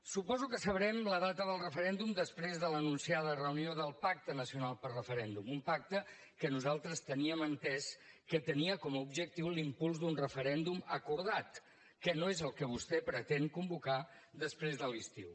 suposo que sabrem la data del referèndum després de l’anunciada reunió del pacte nacional pel referèndum un pacte que nosaltres teníem entès que tenia com a objectiu l’impuls d’un referèndum acordat que no és el que vostè pretén convocar després de l’estiu